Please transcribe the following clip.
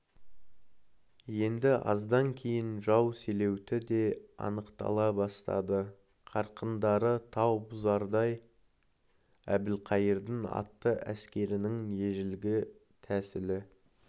енді аздан кейін жау селеуті де анықтала бастады қарқындары тау бұзардай әбілқайырдың атты әскерінің ежелгі тәсілі